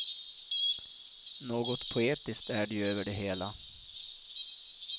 Något poetiskt är det ju över det hela.